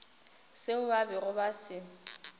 seo ba bego ba se